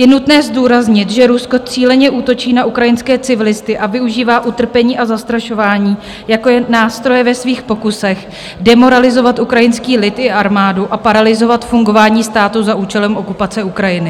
Je nutné zdůraznit, že Rusko cíleně útočí na ukrajinské civilisty a využívá utrpení a zastrašování jako nástroje ve svých pokusech demoralizovat ukrajinský lid i armádu a paralyzovat fungování státu za účelem okupace Ukrajiny.